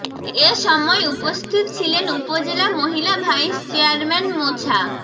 এ সময় উপস্থিত ছিলেন উপজেলা মহিলা ভাইস চেয়ারম্যান মোছা